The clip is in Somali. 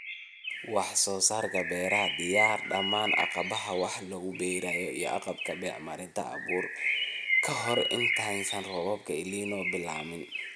Wax-soo-saarka Beeraha Diyaari dhammaan agabka wax lagu beero iyo agabka (bacriminta, abuur, iwm.) ka hor intaysan roobabka El Niño bilaabmin.